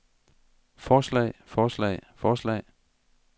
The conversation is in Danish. forslag forslag forslag